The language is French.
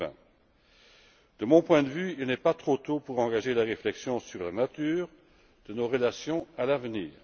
2020. De mon point de vue, il n'est pas trop tôt pour engager la réflexion sur la nature de nos relations à l'avenir.